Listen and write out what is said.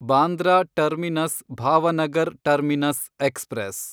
Bandra terminus Bhavnagar terminus express